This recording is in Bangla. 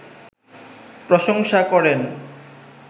প্রশংসা করেন